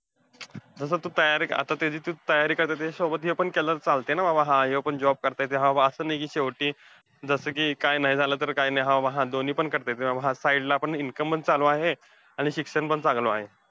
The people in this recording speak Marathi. जसं, तू तयारी, आता त्याची तू तयारी करतेय, त्याच्यासोबत हे पण चालतंय ना बाबा. हा ह्यो पण job करता येतोय. हा बाबा असं नाही कि शेवटी जसं कि काय नाही झालं, तर काय नाही हा हा दोन्ही पण करता येतंय. आणि side ला पण income चं चालू आहे आणि शिक्षण पण चांगलं आहे.